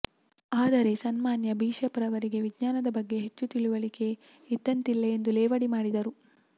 ಆದರೆ ಸನ್ಮಾನ್ಯ ಬಿಷಪ್ರವರಿಗೆ ವಿಜ್ಞಾನದ ಬಗ್ಗೆ ಹೆಚ್ಚು ತಿಳುವಳಿಕೆ ಇದ್ದಂತಿಲ್ಲ ಎಂದು ಲೇವಡಿ ಮಾಡಿದರು